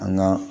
An ga